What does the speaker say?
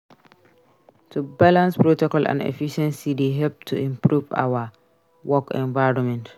To balance protocol and efficiency dey help to improve our work environment.